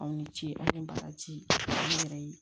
Aw ni ce aw ni barajiw yɛrɛ ye